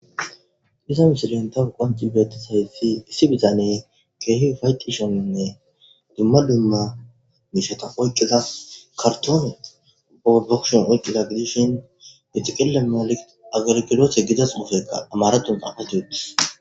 Iza misileni tawu betidayisi issi bitaneyi kehi ufayetishenne duma duma mishaza oyikida karitone baa kusheni oykiza gidishini xeqile giza amarathoni xafeti uttidi